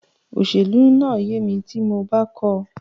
Òṣèlú máa yé mi tí mo bá kọ́ọ.